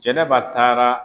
Jɛnɛba taara